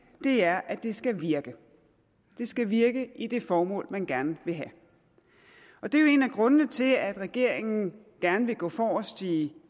er at det skal virke det skal virke i det formål man gerne vil have det er jo en af grundene til at regeringen gerne vil gå forrest i